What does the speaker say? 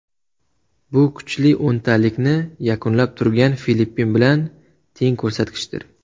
Bu kuchli o‘ntalikni yakunlab turgan Filippin bilan teng ko‘rsatkichdir.